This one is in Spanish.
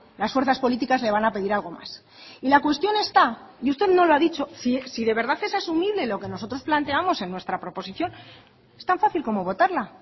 las fuerzas políticas le van a pedir algo más y la cuestión está y usted no lo ha dicho si de verdad es asumible lo que nosotros planteamos en nuestra proposición es tan fácil como votarla